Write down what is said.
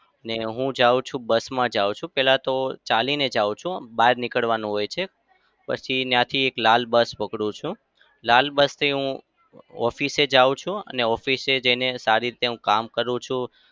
ને હું જાઉં છું bus માં જાઉં છું. પેલા તો ચાલી ને જાઉં છું બહાર નીકળવાનું હાય છે. પછી ત્યાંથી એક લાલ bus પકડું છું. લાલ bus થી હું office જાઉં છું અને office જઈને સારી રીતે હું કામ કરું છું.